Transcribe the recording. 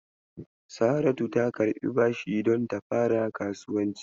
Saratu ta karɓi bashi don ta fara kasuwanci.